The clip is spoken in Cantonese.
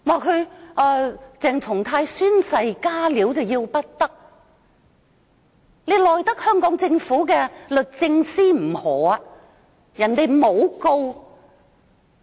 她指鄭松泰議員宣誓"加料"要不得，但她又奈得香港政府的律政司甚麼何？